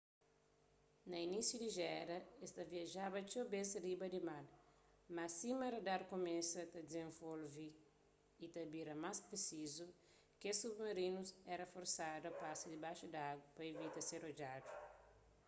na inísiu di géra es ta viajaba txeu bês riba di mar mas sima radar kumesa ta dizenvolve y ta bira más prisizu kes submarinus éra forsadu a pasa dibaxu di agu pa ivita ser odjadu